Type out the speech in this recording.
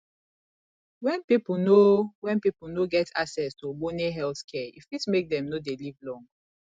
when pipo no when pipo no get access to ogbone health care e fit make dem no dey live long